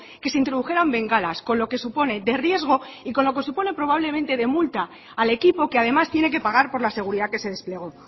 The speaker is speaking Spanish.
que se introdujeran bengalas con lo que supone de riesgo y con lo que supone probablemente de multa al equipo que además tiene que pagar por la seguridad que se desplegó